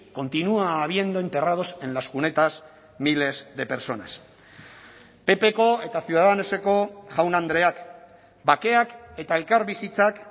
continúa habiendo enterrados en las cunetas miles de personas ppko eta ciudadanoseko jaun andreak bakeak eta elkarbizitzak